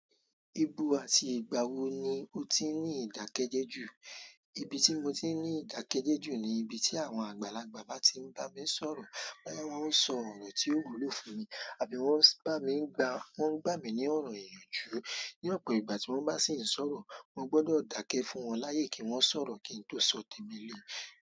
Ibu àti ìgbà wo ni o ti ní ìdákẹ́jẹ́ jù? Ibi tí mo ti ń ní ìdákẹ́jẹ́ jù ni ibi tí àwọn àgbàlagbà bá ti ń bá mi sọ̀rọ̀. Bóyá wọ́n ń sọ ọ̀rọ̀ tí yóò wúlò fún mi, àbí wọ́n ń bá mi gba, wọ́n ń gbà mí ní ọ̀rọ̀ ìyànjú. Ní ọ̀pọ̀ ìgbà tí wọ́n bá sì ń sọ̀rọ̀, mo gbọ́dọ̀ dákẹ́ fún wọn láyè kí wọ́n sọ̀rọ̀ kí n tó sọ tèmi le.